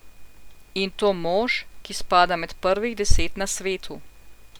In to mož, ki spada med prvih deset na svetu.